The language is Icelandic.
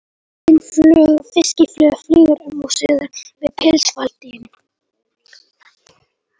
Bústin fiskifluga flýgur um og suðar við pilsfaldinn.